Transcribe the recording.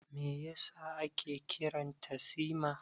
Me yasa ake kiran ta Sima?